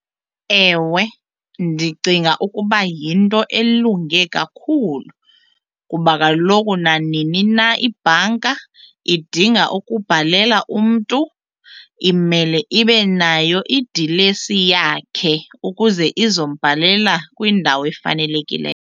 Ewe, ndicinga ukuba yinto elunge kakhulu kuba kaloku nanini na ibhanka idinga ukubhalela umntu imele ibe nayo idilesi yakhe ukuze izombhalela kwindawo efanelekile.